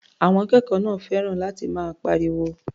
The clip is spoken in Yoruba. Àwọn akẹ́kọ̀ọ́ náà fẹ́ràn láti máa pariwo.